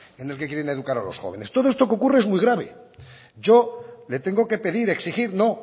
en el que quieren educar a los jóvenes todo esto que ocurre es muy grave yo le tengo que pedir exigir no